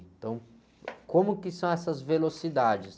Então, como que são essas velocidades?